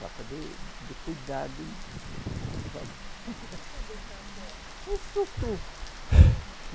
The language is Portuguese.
Falta de de cuidado e O que que é deixar a corda? É soltou